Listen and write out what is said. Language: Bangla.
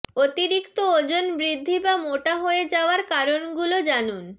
অতিরিক্ত ওজন বৃদ্ধি বা মোটা হয়ে যাওয়ার কারণগুলো জানুন